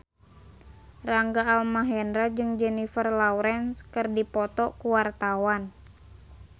Rangga Almahendra jeung Jennifer Lawrence keur dipoto ku wartawan